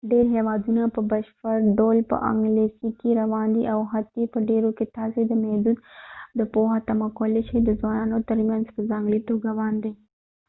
ډیر هیوادونه په بشپړ ډول په انګلیسي کې روان دي او حتی په ډیرو کې تاسي د محدود پوهه تمه کولی شئ د ځوانانو ترمنيځ په ځانګړي توګه باندي